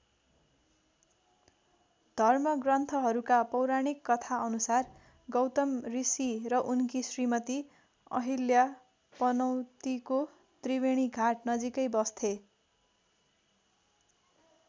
धर्मग्रन्थहरूका पौराणिक कथा अनुसार गौतम ऋषि र उनकी श्रीमती अहिल्या पनौतीको त्रिवेणीघाट नजिकै बस्थे।